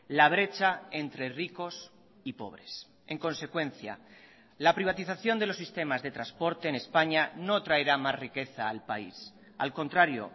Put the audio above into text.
la brecha entre ricos y pobres en consecuencia la privatización de los sistemas de transporte en españa no traerá más riqueza al país al contrario